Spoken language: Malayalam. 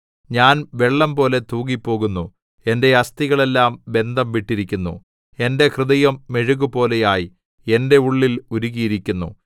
ഞാൻ വെള്ളംപോലെ തൂകിപ്പോകുന്നു എന്റെ അസ്ഥികളെല്ലാം ബന്ധം വിട്ടിരിക്കുന്നു എന്റെ ഹൃദയം മെഴുകുപോലെ ആയി എന്റെ ഉള്ളിൽ ഉരുകിയിരിക്കുന്നു